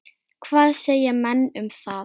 Hvað segja menn um það?